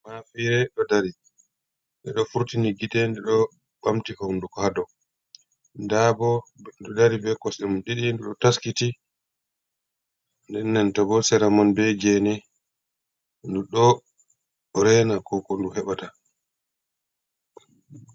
Mafire ɗo dari nde ɗo furtini gite nden ɗo ɓamti hondugo ha dou nda bo ɗo dari be koste mun ɗiɗi nden ɗo taskiti denento bo seramon be gene ndu ɗo rena ko ndu heɓa ta.